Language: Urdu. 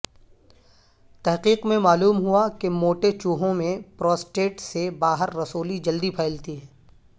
تحقیق میں معلوم ہوا کہ موٹے چوہوں میں پروسٹیٹ سے باہر رسولی جلدی پھیلتی ہے